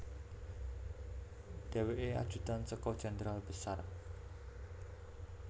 Dhèwèkè ajudan saka Jenderal Besar